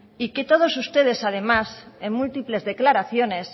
y que todos ustedes además en múltiples declaraciones